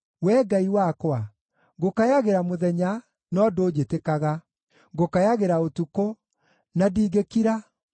Wee Ngai wakwa, ngũkayagĩra mũthenya, no ndũnjĩtĩkaga, ngũkayagĩra ũtukũ, na ndingĩkira.